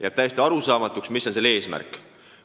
Jääb täiesti arusaamatuks, mis on selle eesmärk.